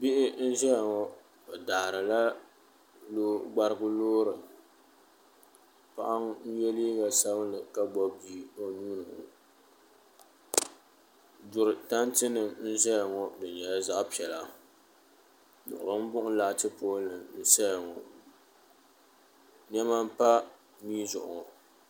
bihi n zaya ŋɔ bɛ daarila gbarigu loori paɣa n ye liiga sabinlli ka gbubi bia o nuuni ŋɔ duri tantinima n zaya ŋɔ di nyɛla zaɣ' piɛla niɣilimbuɣim laati poolinima n saya ŋɔ nema m pa mia zuɣu ŋɔ